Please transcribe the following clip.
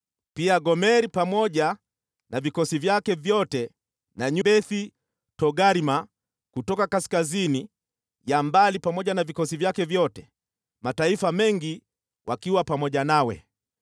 pia Gomeri pamoja na vikosi vyake vyote, na Beth-Togarma kutoka kaskazini ya mbali pamoja na vikosi vyake vyote, mataifa mengi wakiwa pamoja nawe.